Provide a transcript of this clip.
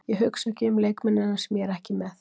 Ég hugsa ekki um leikmennina sem ég er ekki með.